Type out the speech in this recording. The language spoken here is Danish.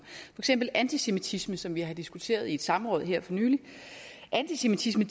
eksempel antisemitisme som vi har diskuteret i et samråd her for nylig antisemitisme